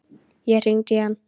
Ég hringdi í hann.